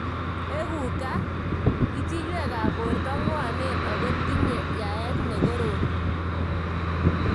Eku ka?ichiywek ab borto ng'wanen ako tinye yaet nekorom.